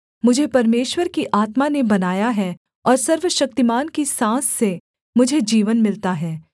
मुझे परमेश्वर की आत्मा ने बनाया है और सर्वशक्तिमान की साँस से मुझे जीवन मिलता है